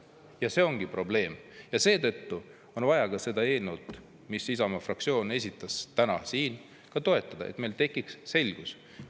Ja see ongi probleem ja seetõttu on vaja ka seda eelnõu, mis Isamaa fraktsioon esitas, täna siin ka toetada, et meil tekiks selgus.